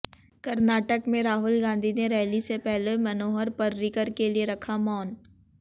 कर्नाटक में राहुल गांधी ने रैली से पहले मनोहर पर्रिकर के लिए रखा मौन